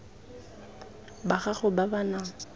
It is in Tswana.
ba gago ba ba nang